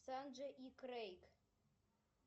санджей и крейг